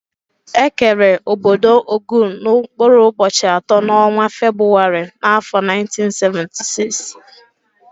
Ekere ọbọdọ Ogun n' mkpụrụ ubochi atọ n'ọnwa Febụwarị n'afọ 1976.